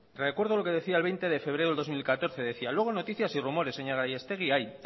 recuerdo lo que decía el veinte de febrero del dos mil catorce decía luego noticias y rumores señora gallastegui hay